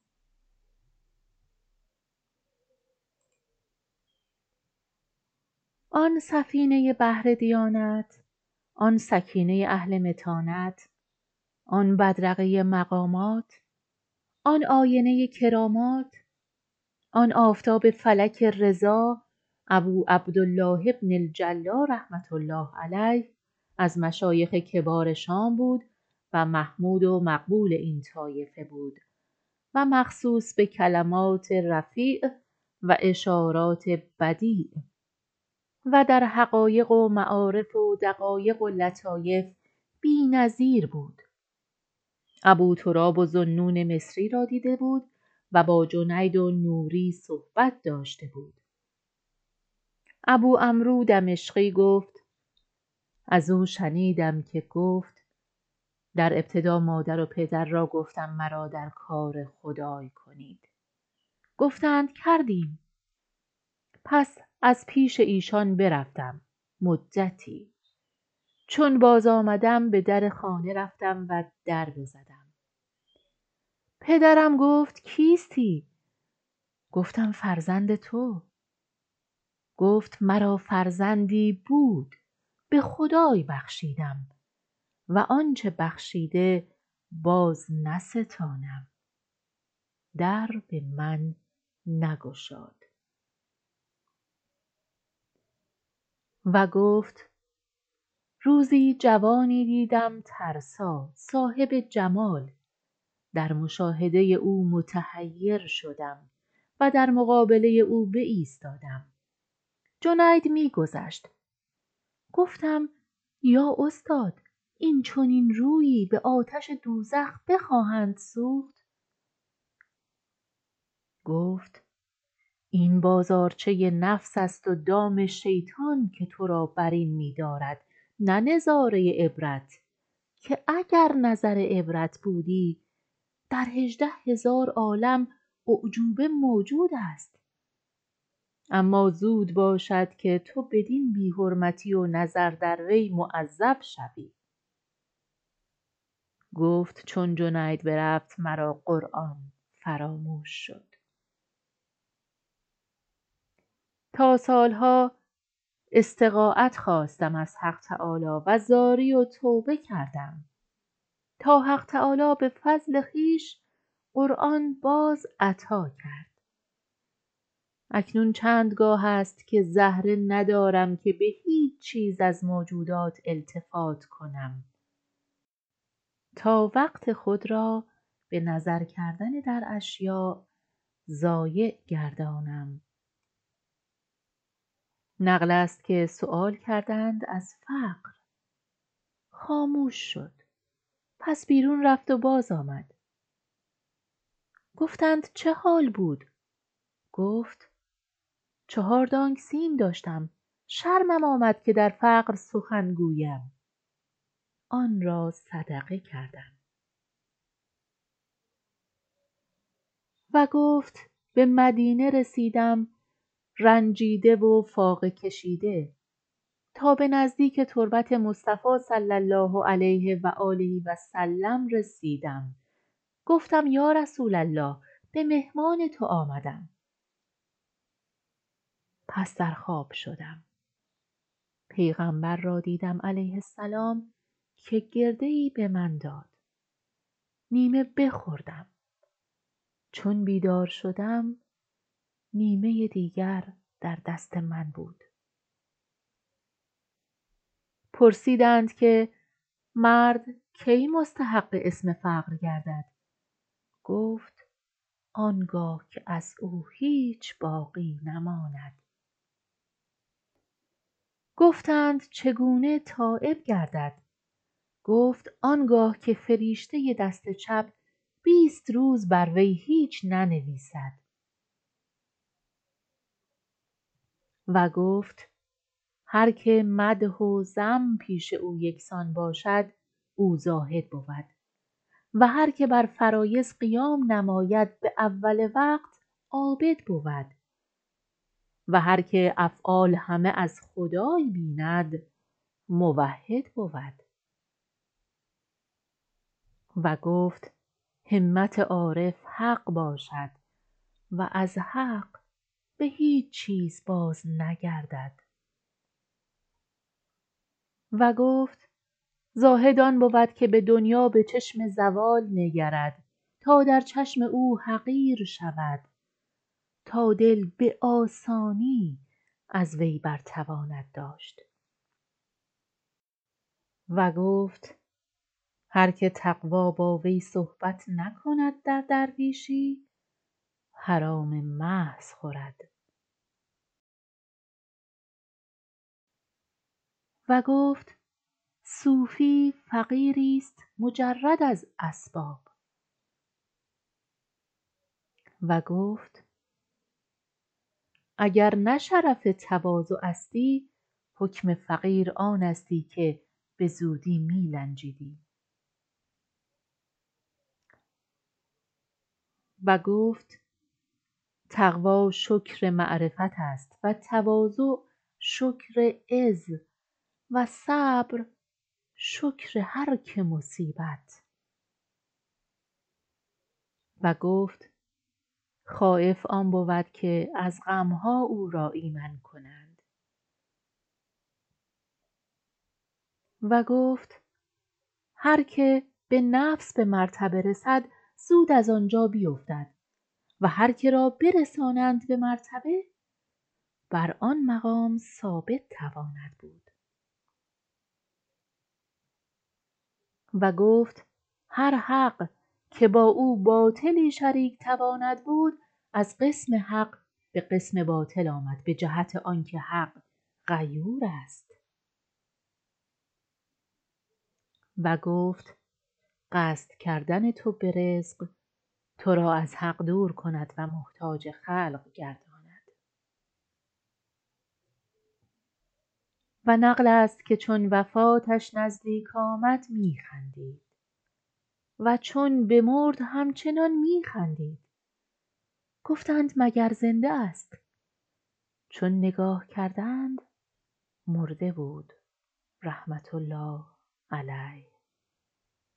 آن سفینه بحر دیانت آن سکینه اهل متانت آن بدرقه مقامات آن آینه کرامات آن آفتاب فلک رضا ابوعبدالله بن الجلا رحمة الله علیه از مشایخ کبار شام بود و محمود و مقبول این طایفه بود و مخصوص به کلمات رفیع و اشارات بدیع ودر حقایق و معارف و دقایق و لطایف بی نظیر بود ابوتراب و ذوالنون مصری را دیده بود و با جنید و نوری صحبت داشته بود ابوعمر و دمشقی گفت ازو شنیدم که گفت در ابتدا مادر و پدر را گفتم مرا در کار خدای کنید گفتند کردیم پس از پیش ایشان برفتم مدتی چون بازآمدم بدرخانه رفتم و در بزدم پدرم گفت کیستی گفتم فرزند تو گفت مرا فرزندی بود به خدای بخشیدم و آنچه بخشیده بازنستانم در به من نگشاد و گفت روزی جوانی دیدم ترسا صاحب جمال در مشاهده او متحیر شدم و در مقابله او بایستادم جنید می گذشت گفتم یا استاد این چنین رویی به آتش دوزخ بخواهند سوخت گفت این بازارچه نفس است ودام شیطان که ترا برین می دارد نه نظاره عبرت که اگر نظر عبرت بودی در هژده هزار عالم اعجوبه موجود است اما زود باشد که تو بدین بی حرمتی و نظر دروی معذب شوی گفت چون جنید برفت مرا قرآن فراموش شد تا سالها استغایت خواستم از حق تعالی وزاری و توبه کردم تا حق تعالی به فضل خویش قرآن باز عطا کرد اکنون چندگاه است که زهره ندارم که بهیچ چیز از موجودات التفات کنم تا وقت خود را به نظر کردن در اشیاء ضایع گردانم نقلست که سیوال کردند از فقر خاموش شد پس بیرون رفت و بازآمد گفتند چه حال بود گفت چهار دانگ سیم داشتم شرمم آمد که در فقر سخن گویم آن را صدقه کردم و گفت به مدینه رسیدم رنجدیده و فاقه کشیده تا به نزدیک تربت مصطفی صلی الله علیه و علی آله و سلم رسیدم گفتم یا رسول الله به مهمان تو آمدم پس در خواب شدم پیغمبر را دیدم علیه السلام که گرده به من داد نیمه بخوردم چون بیدار شدم نیمه دیگر در دست من بود پرسیدند که مردکی مستحق اسم فقر گردد گفت آنگاه که از او هیچ باقی نماند گفتند چگونه تایب گردد گفت آنگاه که فریشته دست چپ بیست روز بر وی هیچ ننویسد و گفت هر که مدح وذم پیش او یکسان باشد او زاهد بود و هر که بر فرایض قیام نماید باول وقت عابد بود و هر که افعال همه از خدای بیند موحد بود و گفت همت عارف حق باشد و ازحق بهیچ چیز بازنگردد و گفت زاهد آن بود که به دنیا بچشم زوال نگرد تا در چشم او حقیر شود تا دل به آسانی ازوی بر تواند داشت و گفت هر که تقوی باوی صحبت نکند در درویشی حرام محض خورد و گفت صوفی فقیری است مجرد از اسباب و گفت اگر نه شرف تواضع استی حکم فقیر آنستی که بزودی میلنجیدی و گفت تقوی شکر معرفت است و تواضع شکر عزو صبر شکر هر که مصیبت و گفت خایف آن بود که از غمها او را ایمن کنند و گفت هر که به نفس به مرتبه رسد زود از آنجا بیفتد و هر که را برسانند به مرتبه بر آن مقام ثابت تواند بود و گفت هر حق که با او باطلی شریک تواند بود از قسم حق به قسم باطل آمد به جهت آنکه حق غیور است و گفت قصد کردن تو برزق تو را از حق دور کند و محتاج خلق گرداند و نقلست که چون وفاتش نزدیک آمد می خندید و چون بمرد همچنان می خندید گفتند مگر زنده است چون نگاه کردند مرده بود رحمةالله علیه